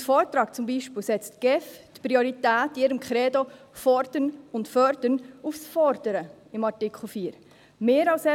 Laut Vortrag setzt die GEF die Priorität bei ihrem Kredo «Fordern und Fördern» in Artikel 4 zum Beispiel auf das Fordern.